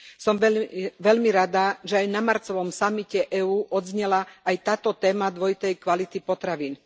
Som veľmi rada, že aj na marcovom samite EÚ odznela aj táto téma dvojitej kvality potravín.